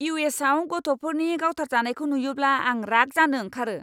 इउ.एस.आव गथ'फोरनि गावथारजानायखौ नुयोब्ला आं राग जानो ओंखारो!